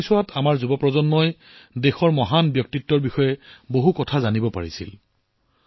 এই সময়ছোৱাত আমাৰ যুৱকযুৱতীসকলে দেশৰ মহান ব্যক্তিত্বৰ বিষয়ে বহু কথা জানিব পাৰিলে